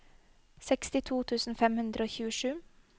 sekstito tusen fem hundre og tjuesju